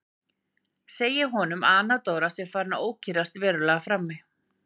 Segir honum að Anna Dóra sé farin að ókyrrast verulega frammi.